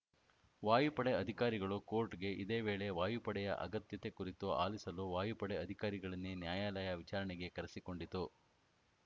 ವಾಯುಪಡೆ ಅಧಿಕಾರಿಗಳು ಕೋರ್ಟ್‌ಗೆ ಇದೇ ವೇಳೆ ವಾಯುಪಡೆಯ ಅಗತ್ಯತೆ ಕುರಿತು ಆಲಿಸಲು ವಾಯುಪಡೆ ಅಧಿಕಾರಿಗಳನ್ನೇ ನ್ಯಾಯಾಲಯ ವಿಚಾರಣೆಗೆ ಕರೆಸಿಕೊಂಡಿತು